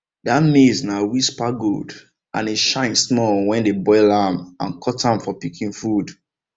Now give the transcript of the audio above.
that maize na whisper gold and e shine small when dem boil am and cut am for pikin food